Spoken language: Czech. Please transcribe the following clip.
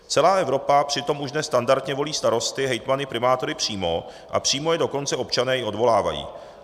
Celá Evropa přitom už dnes standardně volí starosty, hejtmany, primátory přímo, a přímo je dokonce občané i odvolávají.